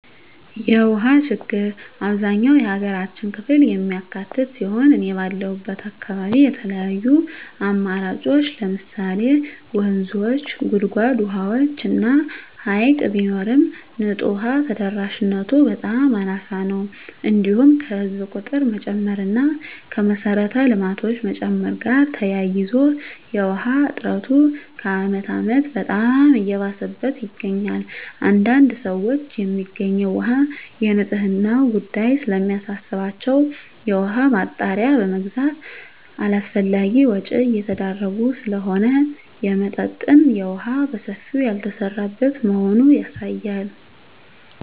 የውሃ ችግር አብዛኛው የሀገራችን ክፍል የሚካትት ሲሆን እኔ ባለሁበት አካባቢ የተለያዩ አማራጮች ለምሳሌ ወንዞች; ጉድጓድ ውሃዎች እና ሀይቅ ቢኖርም ንፁህ ውሃ ተደራሽነቱ በጣም አናሳ ነው። እንዲሁም ከህዝብ ቁጥር መጨመር እና ከመሰረተ ልማቶች መጨመር ጋር ተያይዞ የውሃ እጥረቱ ከአመት አመት በጣም እየባሰበት ይገኛል። አንዳንድ ሰዎች የሚገኘው ውሃ የንፅህናው ጉዳይ ስለሚያሳስባቸው የውሃ ማጣሪያ በመግዛት አላስፈላጊ ወጭ እየተዳረጉ ስለሆነ የመጠጠጥ የውሃ በሰፊው ያልተሰራበት መሆኑ ያሳያል።